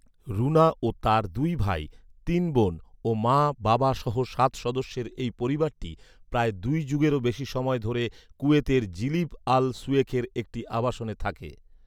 রুনা ও তার দুই ভাই, তিন বোন ও মা, বাবাসহ সাত সদস্যের এই পরিবারটি প্রায় দুই যুগেরও বেশি সময় ধরে কুয়েতের জিলিব আল সুয়েখের একটি আবাসনে থাকে